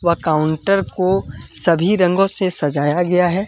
व काउंटर को सभी रंगों से सजाया गया है।